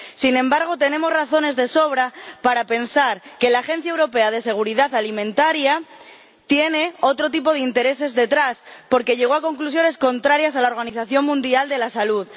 sin embargo, tenemos razones de sobra para pensar que la Autoridad Europea de Seguridad Alimentaria tiene otro tipo de intereses detrás porque llegó a conclusiones contrarias a las de la Organización Mundial de la Salud.